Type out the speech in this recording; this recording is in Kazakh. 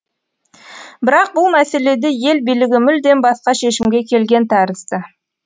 бірақ бұл мәселеде ел билігі мүлдем басқа шешімге келген тәрізді